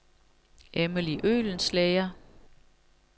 Emily Øhlenschlæger